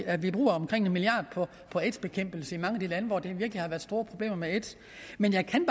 at vi bruger omkring en milliard kroner på aids bekæmpelse i mange af de lande hvor der virkelig har været store problemer med aids men jeg kan